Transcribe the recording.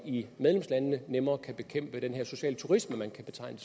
i medlemslandene nemmere kan bekæmpe den her sociale turisme vi kan betegne